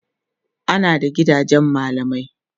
ana da gidajen mallamai